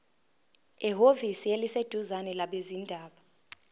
ehhovisi eliseduzane labezindaba